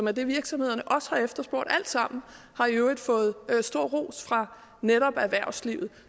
er det virksomhederne har efterspurgt alt sammen har i øvrigt fået stor ros fra netop erhvervslivet